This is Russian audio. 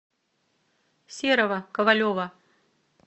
серого ковалева